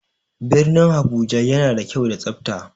Birnin Abuja yana da kyau da tsafta.